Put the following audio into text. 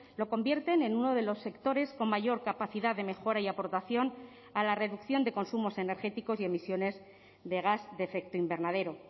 lo convierten en uno de los sectores con mayor capacidad de mejora y aportación a la reducción de consumos energéticos y emisiones de gas de efecto invernadero